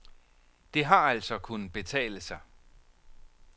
Det har altså kunnet betale sig.